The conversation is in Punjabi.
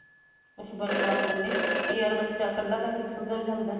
ਕੁੱਝ ਬਣਨਾ ਕੱਲੇ ਜਾ ਬੱਚਾ ਕੱਲਾ ਰਿਹ ਕੇ ਸੁਧਰ ਜਾਂਦਾ